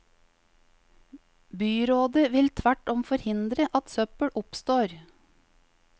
Byrådet vil tvert om forhindre at søppel oppstår.